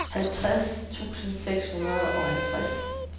halvtreds tusind seks hundrede og halvtreds